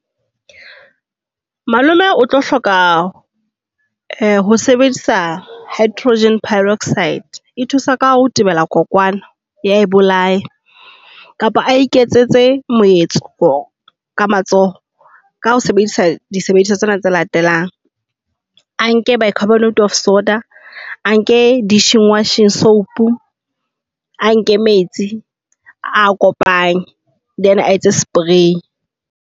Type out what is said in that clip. Malome o tlo hloka ho sebedisa hydro peroxide e thusa ka ho tebela kokwana, ya e bolaya. Kapa a iketsetse moetso ka matsoho ka ho sebedisa disebediswa tsena tse latelang. A nke bicarbonate of soda, a nke dishwashing soap, a nke metsi a kopanye. Then a etse spray.